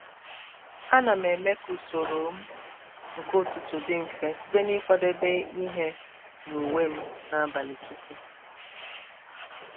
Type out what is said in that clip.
a na m eme ka usoro m nke ụtụtụ dị mfe site n'ikwadebe ihe na uwe m n'abalị tupu.